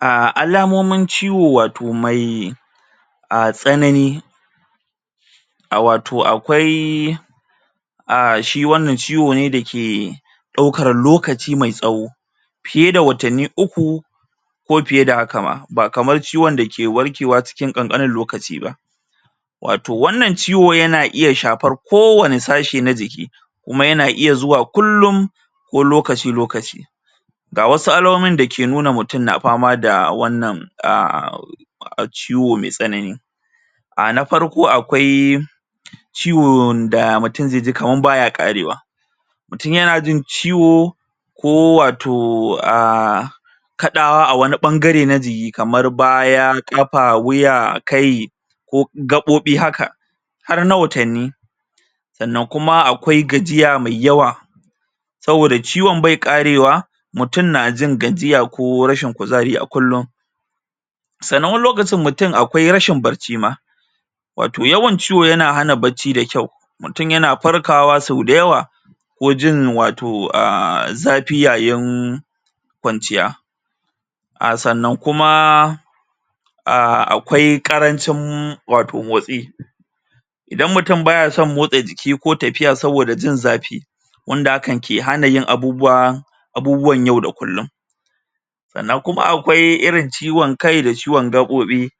A Alamomin ciwo wato mai a tsanani a wato akwai a shi wannan ciwo ne da ke ɗaukar lokaci mai tsawo fiye da watanni uku ko fiye da haka ma ba kamar ciwon da ke warkewa cikin kankanin lokaci wato wannan ciwo yana iya shafar kowani sashi na jiki kuma yana iya zuwa kullum ko lokaci lokaci ga wasu alamomin da ke nuna mutum na fama da wannan a ciwo mai tsanani a na farko akwai ciwon da mutum zai ji kamar baya karewa mutum yana jin ciwo ko wato aaa kaɗawa a wani ɓangare na jiki kamar baya, ƙafa, wuya, kai ko gaɓoɓi haka har na watanni sannan kuma akwai gajiya mai yawa saboda ciwon bai ƙarewa mutum na jin gajiya ko rashin kuzari a kullum sannan wani lokacin mutum akwai rashin barci ma wato yawan ciwo yana hana bacci da kyau mutum yana farkawa sau da yawa ko jin wato a zafi yayin kwanciya a sannan kuma aaa akwai karancin wato motsi idan mutum baya son motsa jiki koh tafiya saboda jin zafi wanda hakan ke hana yin abubuwa abubuwan yau da kullum sannan kuma akwai irin ciwon kai da ciwon gabobi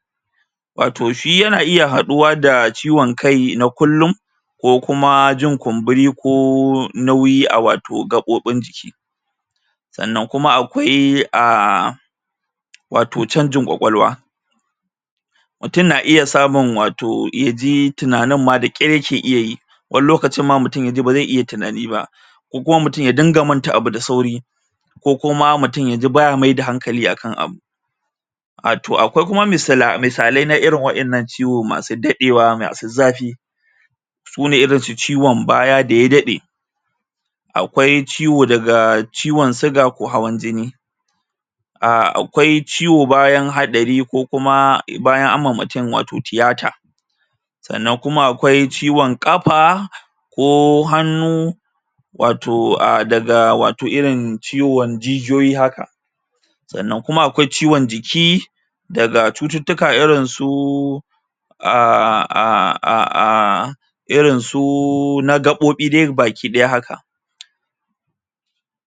wato shi yana iya haduwa da ciwon kai na kullum ko kuma jin kumburi ko nauyi a wato gabobin jiki sannan kuma akwai a wato chanjin kwakwalwa mutum na iya samun wato ya ji tunanin ma da kyar ya keyi wani lokacin ma mutum ya ji ba zai iya tunani ba ko kuma mutum ya dinga manta abu da sauri ko kuma mutum ya ji baya maida hankali a kan abu wato akwai kuma misa misalai irin wadannan ciwo masu dadewa masu zafi sune irin su ciwon baya da ya daɗe akwai ciwo daga ciwon siga ko hawan jini a akwai ciwo bayan haɗari ko kuma bayan anyi wa mutum wato tiyata sannan kuma akwai ciwon ƙafa ko hannu wato a daga wato irin ciwon jijiyoyi haka sannan kuma akwai ciwon jiki daga cututtuka irin su um irin su na gaɓoɓi dai baki daya haka.